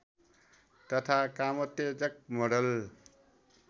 तथा कामोत्तेजक मोडल